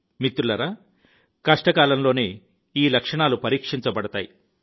మిత్రులారా కష్ట కాలంలోనే ఈ లక్షణాలు పరీక్షించబడతాయి